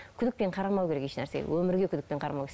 күдікпен қарамау керек ешнәрсеге өмірге күдікпен қарамау